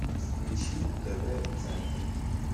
включи тв центр